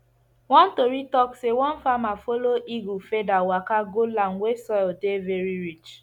one tori talk say one farmer follow eagle feather waka go land wey soil dey very rich